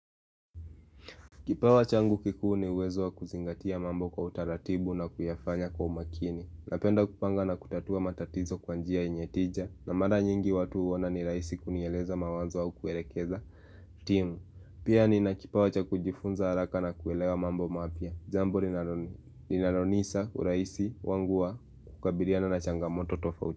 Kipawa changu kikuu ni uwezo wa kuzingatia mambo kwa utaratibu na kuyafanya kwa umakini Napenda kupanga na kutatua matatizo kwa njia yenye tija na mara nyingi watu huona ni rahisi kunieleza mawazo au kuelekeza timu Pia nina kipawa cha kujifunza haraka na kuelewa mambo mapya jambo linaronisa urahisi wangu wa kukabiliana na changamoto tofauti.